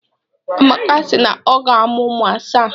Amaka si na ọ ga-amụ ụmụ asaa.